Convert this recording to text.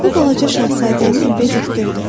Bu Balaca Şahzadəni bezikdirdi.